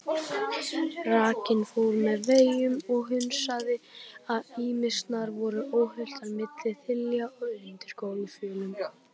Rakkinn fór með veggjum og hnusaði, en mýsnar voru óhultar milli þilja og undir gólffjölum.